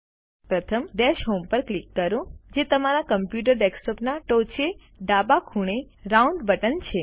પ્રથમ dash home ઉપર click કરો જે તમારા કમ્પ્યુટર ડેસ્કટોપના ટોચે ડાબા ખૂણે રાઉન્ડ બટન છે